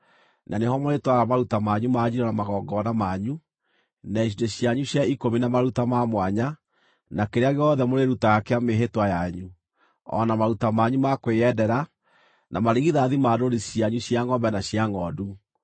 na nĩho mũrĩtwaraga maruta manyu ma njino na magongona manyu, na icunjĩ cianyu cia ikũmi na maruta ma mwanya, na kĩrĩa gĩothe mũrĩrutaga kĩa mĩĩhĩtwa yanyu, o na maruta manyu ma kwĩyendera, na marigithathi ma ndũũru cianyu cia ngʼombe na cia ngʼondu.